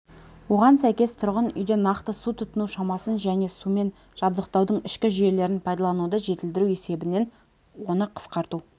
оған сәйкес тұрғын үйде нақты су тұтыну шамасын және сумен жабдықтаудың ішкі жүйелерін пайдалануды жетілдіру есебінен оны қысқарту